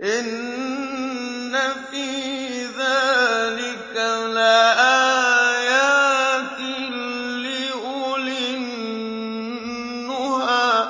إِنَّ فِي ذَٰلِكَ لَآيَاتٍ لِّأُولِي النُّهَىٰ